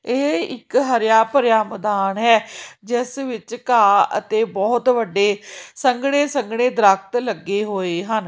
ਇਹ ਇੱਕ ਹਰਿਆ ਭਰਿਆ ਮੈਦਾਨ ਹੈ ਜਿਸ ਵਿੱਚ ਘਾਹ ਅਤੇ ਬਹੁਤ ਵੱਡੇ ਸੰਘਣੇ ਸੰਘਣੇ ਦਰਖਤ ਲੱਗੇ ਹੋਏ ਹਨ।